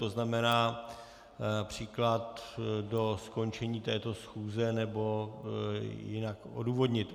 To znamená například do skončení této schůze, nebo jinak odůvodnit.